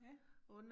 Ja